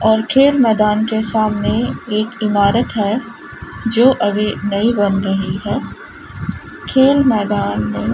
और खेल मैदान के सामने एक इमारत है जो अभी नई बन रही है खेल मैदान मे --